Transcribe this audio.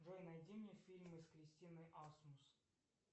джой найди мне фильмы с кристиной асмус